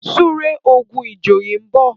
súré ogun ìjòyè nbọ